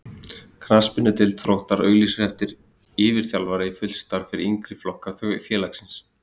Knattspyrnudeild Þróttar auglýsir eftir yfirþjálfara í fullt starf fyrir yngri flokka félagsins.